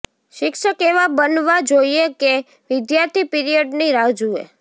શિક્ષક એવા બનવા જોઈએ કે વિદ્યાર્થી પિરિયડની રાહ જુએ